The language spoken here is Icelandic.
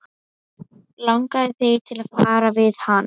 Langaði þig til að tala við hann?